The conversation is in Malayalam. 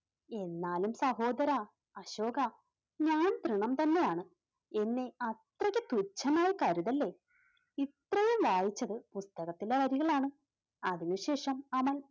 എന്നാലും സഹോദരാ അശോകാ, ഞാൻ ത്രിണം തന്നെയാണ് എന്നെ അത്രയ്ക്ക് പുച്ഛമായി കരുതല്ലേ ഇത്രയും വായിച്ചത് പുസ്തകത്തിലെ വരികളാണ്. അതിനുശേഷം അമൽ